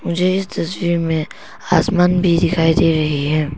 मुझे इस तस्वीर में आसमान भी दिखाई दे रही है।